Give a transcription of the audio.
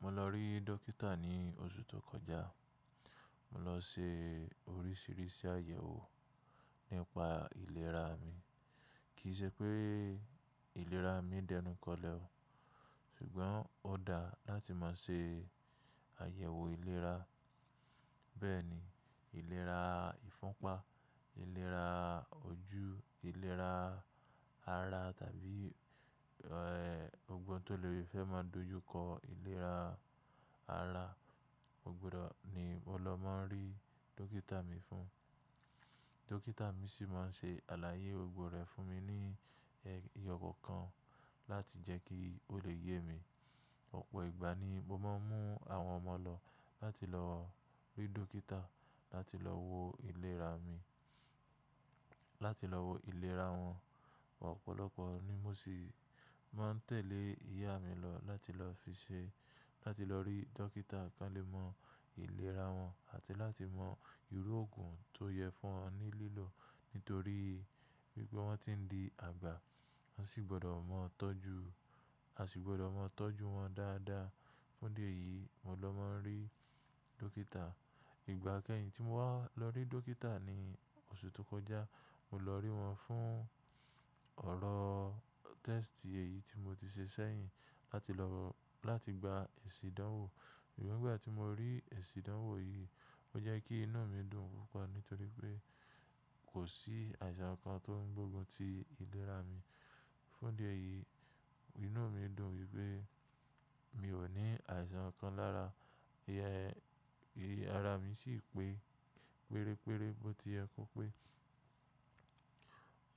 Mo lọ rí dókítà ní oṣù tó kọjá. Mo lọ se orísìírísìí àyẹ̀wò nípa ìlera mi. Kì í ṣe pé ìlera mi dẹnu kọlẹ ọ, ṣùgbọ́n ó dá láti máa ṣe àyẹ̀wò ìlera. Bẹ́ẹ̀ ni ìlera ìfúnpá, ìlera ojú, ìlera ara tàbí ẹ́, gbogbo ohun tó le fẹ́ máa dojúkọ ìlera ara, o gbudọ̀ ni mo lọ máa ń rí dókítà mi fún. Dókítà mi sì máa ń ṣe àlàyé gbogbo rè fún mi ní ẹyọkọ̀ọ̀kan láti jẹ́ kí ó lè yé mi. Ọ̀pọ̀ ìgbà ni mo máa ń mú àwọn ọmọ lọ láti lọ rí dókítà láti lọ wo ìlera mi, láti lọ wo ìlera wọn. Ọ̀pọ̀lọpọ̀ ni mo sì máa ń tẹ̀lé ìyá mi lọ láti lọ fiṣẹ́, láti lọ rí dókítà ká lè mọ ìlera wọn àti láti mọ ìrú òògùn tó yẹ fún wọn ní lílò. Nítorí wípé wọ́n ti ń di àgbà, wọ́n sì gbọ́dọ̀ mọ tọ́jú, a sì gbọ́dọ̀ mọ tọ́jú wọn dáadáa. Fún dí ẹ̀yìí mo lọ máa ń rí dókítà. Ìgbà kẹ́yìn tí mo wá lọ rí dókítà ní oṣù tó kọjá, mo lọ rí wọn fún ọ̀rọ̀ test èyí tí mo ti ṣe sẹ́yìn láti lọ, láti gba èsì ìdánwò. Ṣùgbọ́n ìgbà tí mo rí èsì ìdánwò yìí, ó jẹ́ kí inú mi dùn púpọ̀ nítorí pé kò sí àìsàn kan tó ń gbógun ti ìlera mi. Fún'dí ẹ̀yìí inú mi dùn wípé mi ò ní àìsàn kan lára. Ẹ̀yin ara mi sì pé pérépéré, bó ti yẹ kó pé